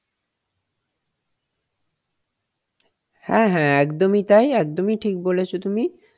হ্যাঁ হ্যাঁ একদমই তাই, একদমই ঠিক বোলেছো তুমি,